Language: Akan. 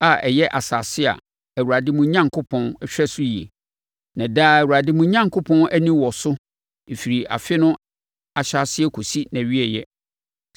a ɛyɛ asase a Awurade, mo Onyankopɔn, hwɛ so yie. Na daa Awurade mo Onyankopɔn ani wɔ so firi afe no ahyɛaseɛ kɔsi nʼawieeɛ.